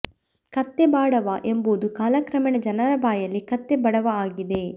ಕತ್ತೆ ಬಾಡವ ಎಂಬುದು ಕಾಲಕ್ರಮೇಣ ಜನರ ಬಾಯಲ್ಲಿ ಕತ್ತೆ ಬಡವ ಆಗಿದೆ